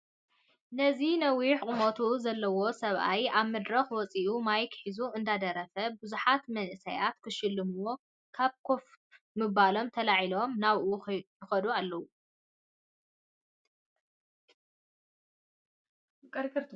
እዚ ነዊሕ ቁመት ዘለዎ ሰብኣይ ኣብ መድረክ ወፂኡ ማይክ ሒዙ እንዳደረፋ ብዙሓት መናእሳይ ክሸልምዋ ካብ ከፍ ምባሎም ተላዒሎም ናብኡ ይከዱ ኣለው።